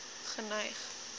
geneig